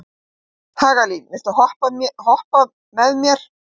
Hagalín, viltu hoppa með mér?